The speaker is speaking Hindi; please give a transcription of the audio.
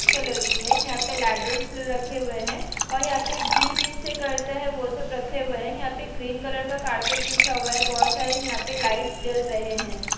कलर की है यहाँ पे लैडर रखे हुए हैं और यहाँ पे जिम जिससे करता है वो सब रखे हुए हैं यहाँ पे ग्रीन कलर का कारपेट बिछा हुआ है बहोत सारे यहाँ पे लाइट्स जल रहे हैं।